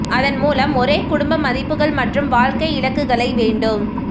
அதன் மூலம் ஒரே குடும்ப மதிப்புகள் மற்றும் வாழ்க்கை இலக்குகளை வேண்டும்